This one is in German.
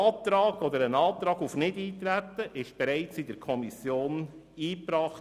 Der Antrag auf Nichteintreten wurde bereits in der Kommission eingebracht.